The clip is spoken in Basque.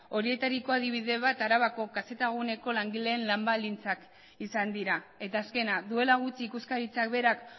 horietariko adibide bat arabako kz guneko langileen lan baldintzak izan dira eta azkena duela gutxi ikuskaritzak berak